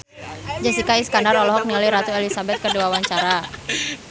Jessica Iskandar olohok ningali Ratu Elizabeth keur diwawancara